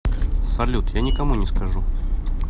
салют я никому не скажу